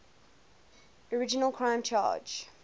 original criminal charge